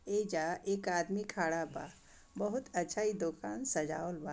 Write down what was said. ऐजा एक आदमी खड़ा बा बहुत अच्छा इ दुकान सजावल बा।